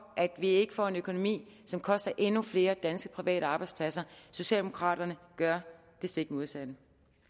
at vi ikke får en økonomi som vil koste endnu flere danske private arbejdspladser socialdemokraterne gør det stik modsatte